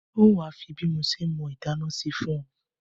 N o wa fi bí mo se mọ́ inádá sí fùn o